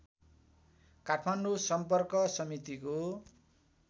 काठमाडौँ सम्पर्क समितिको